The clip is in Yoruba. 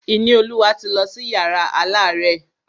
Ìníolúwa ti lọ sí yàrá alárẹ̀.